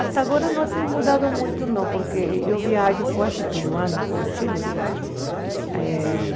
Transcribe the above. Até agora não tem mudado muito, não, porque eu viajo quase todo ano para o Chile. Eh